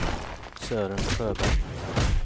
Sören Sjöberg